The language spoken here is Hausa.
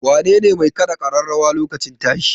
Wanene mai kaɗa ƙararrawar lokacin tashi?